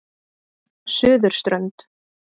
Suðurströnd